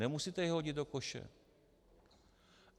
Nemusíte je hodit do koše.